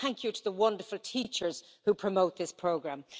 And thank you to the wonderful teachers who promote this programme.